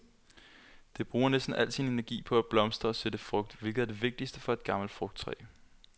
Det bruger næsten al sin energi på at blomstre og sætte frugt, hvilket er det vigtigste for et gammelt frugttræ.